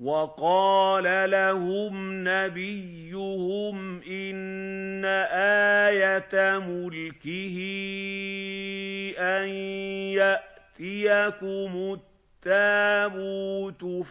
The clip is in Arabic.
وَقَالَ لَهُمْ نَبِيُّهُمْ إِنَّ آيَةَ مُلْكِهِ أَن يَأْتِيَكُمُ التَّابُوتُ